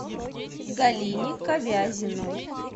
галине ковязиной